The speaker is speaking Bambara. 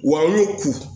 Wa n y'o ku